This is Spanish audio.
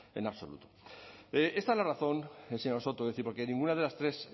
en absoluto esta es la razón señor soto porque ninguna de las tres